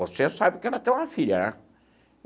Você sabe que ela tem uma filha, né?